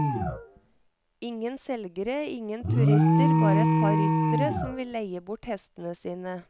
Ingen selgere, ingen turister, bare et par ryttere som vil leie bort hestene sine.